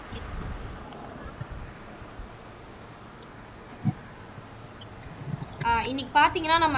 அஹ் இன்னைக்கு பாத்தீங்கன்னா நம்ம